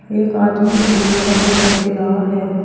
एक आदमी भी खड़ा दिखाई दे रहा है।